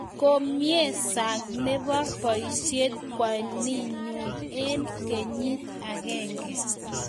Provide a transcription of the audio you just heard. komie sang nebo boishet kwaninyu eng kenyit agenge